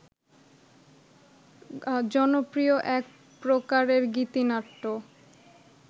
জনপ্রিয় এক প্রকারের গীতিনাট্য